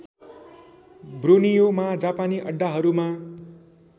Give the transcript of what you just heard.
ब्रोनियोमा जापानी अड्डाहरूमा